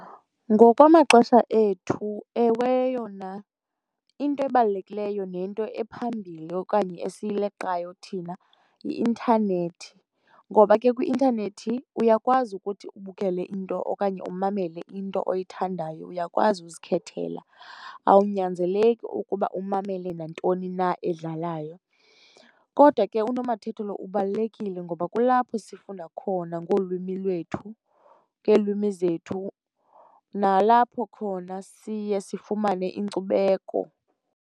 Ngokwamaxesha ethu, ewe, yona into ebalulekileyo nento ephambili okanye esiyileqayo thina yi-intanethi, ngoba ke kwi-intanethi uyakwazi ukuthi ubukele into okanye umamele into oyithandayo. Uyakwazi uzikhethela, awunyanzeleki ukuba umamele nantoni na edlalayo. Kodwa ke unomathotholo ubalulekile ngoba kulapho sifunda khona ngolwimi lwethu, ngeelwimi zethu, nalapho khona siye sifumane inkcubeko.